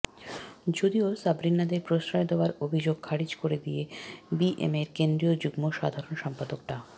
যদিও সাবরিনাদের প্রশ্রয় দেওয়ার অভিযোগ খারিজ করে দিয়ে বিএমএর কেন্দ্রীয় যুগ্ম সাধারণ সম্পাদক ডা